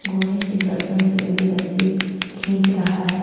घोड़ी के गर्दन से लगी रस्सी खींच रहा है और--